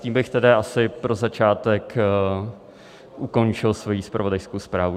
Tím bych tedy asi pro začátek ukončil svoji zpravodajskou zprávu.